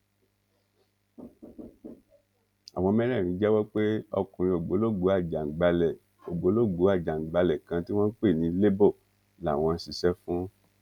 àwọn mẹrẹẹrin jẹwọ pé ọkùnrin ògbólógbòó ajaǹgbàlẹ ògbólógbòó ajaǹgbàlẹ kan tí wọn ń pè ní lebo làwọn ń ṣiṣẹ fún